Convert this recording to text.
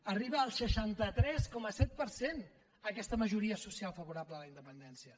arriba al seixanta tres coma set per cent aquesta majoria social favorable a la independència